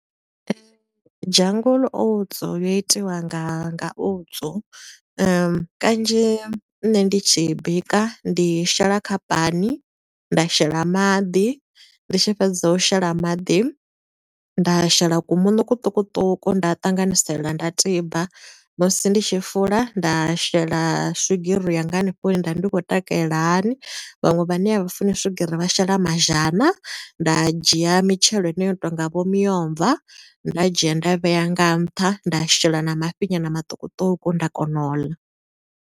Jungle Oats yo itiwa nga nga oats. Kanzhi nṋe ndi tshi i bika, ndi shela kha pani, nda shela maḓi, ndi tshi fhedza u shela maḓi, nda shela ku muṋo kuṱukuṱuku nda ṱanganisela nda tiba. Musi ndi tshi fula, nda shela swigiri yanga hanefho hune nda ndi kho takalela hani. Vhaṅwe vhane a vha funi swigiri vha shela mazhana. Nda dzhia mitshelo heneyo yo tonga vho miomva, nda dzhia nda vhea nga nṱha, nda shela na mafhi nyana maṱukuṱuku, nda kona u ḽa.